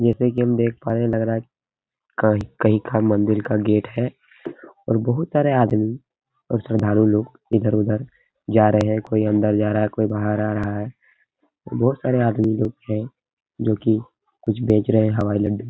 जैसे कि हम देख पा रहें लग रहा है का मंदिर का गेट है और बोहोत सारे आदमी और साधारण लोग इधर- उधर जा रहे हैं। कोई अंदर जा रहा है कोई बाहर आ रहा है। बोहोत सारे आदमी लोग हैं जो कि कुछ बेच रहे हैं। हवाई लड्डू --